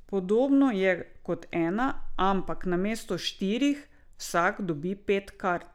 Podobno je kot Ena, ampak namesto štirih vsak dobi pet kart.